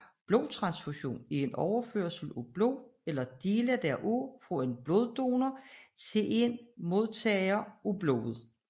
Blodtransfusion er overførsel af blod eller dele heraf fra en bloddonor til en modtager af blodet